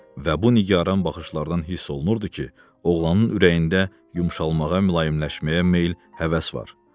Və bu nigaran baxışlardan hiss olunurdu ki, oğlanın ürəyində yumşalmağa, mülayimləşməyə meyl, həvəs var.